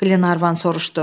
Qlenarvan soruşdu.